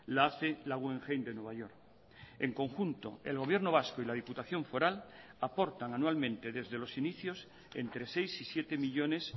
la hace la guggenheim de nueva york en conjunto el gobierno vasco y la diputación foral aportan anualmente desde los inicios entre seis y siete millónes